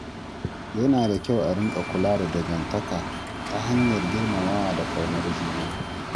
Yana da kyau a riƙa kula da dangantaka ta hanyar girmamawa da ƙaunar juna.